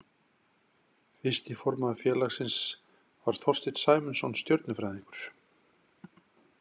Fyrsti formaður félagsins var Þorsteinn Sæmundsson stjörnufræðingur.